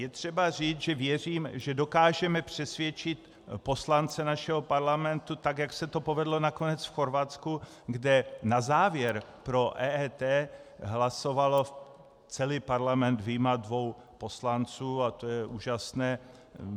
Je třeba říct, že věřím, že dokážeme přesvědčit poslance našeho parlamentu tak, jak se to povedlo nakonec v Chorvatsku, kde na závěr pro EET hlasoval celý parlament vyjma dvou poslanců, a to je úžasné.